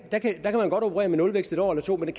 man godt operere med nulvækst et år eller to men